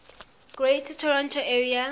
greater toronto area